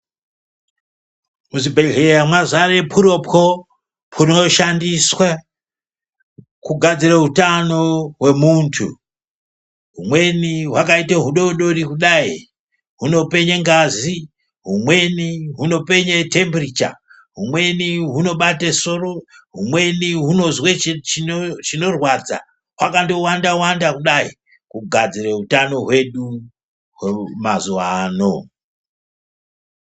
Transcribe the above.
Muzvibhehleya mwazare pwuro-pwo pwuuno shandiswe kugadzire utano hwemuntu. Humweni hwakaite hudodori kudai huno penye ngazi, humweni hunopenye temperature, humweni hunobate soro ,humweni hunozwe chinorwadza, hwakandowanda-wanda kudai kugadzire utano hwedu mazuwa ano.